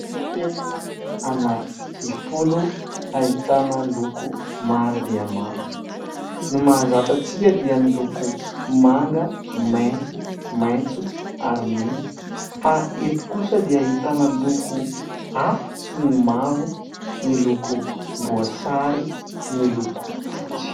Penina ananky folo ahitana loko maro dia maro. Ny mahazatra antsika dia ny loko manga, mainty, maitso ary mena fa eto kosa dia ahitana loko hafa toy ny mavo, ny lokom-boasary, ny loko fotsy.